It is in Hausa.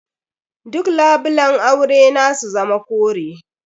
Duk labulan aure na su zama kore.